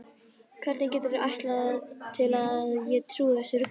Hvernig geturðu ætlast til að ég trúi þessu rugli?